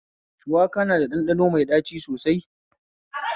Shuwaka na da ɗanɗano mai ɗaci sosai